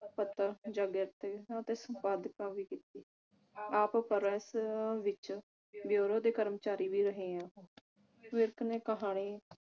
ਪੱਤਰ ਦੇ ਸੰਪਾਦਕਾਂ ਵਿਚ ਸੀ ਆਪ press ਵਿਚ bureau ਦੇ ਕਰਮਚਾਰੀ ਵੀ ਰਹੇ ਹਨ ਵਿਰਕ ਨੇ ਕਹਾਣੀ